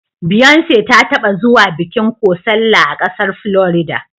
Beyonce ta taɓa zuwa bikin kocella a ƙasar Florida.